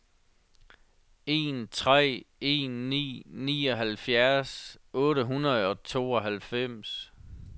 en tre en ni nioghalvfjerds otte hundrede og tooghalvfems